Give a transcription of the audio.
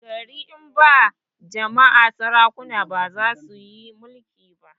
gari in ba jama'a sarakuna bazasuyi mulki ba